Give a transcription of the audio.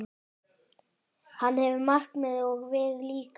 Hann hefur markmið, og við líka.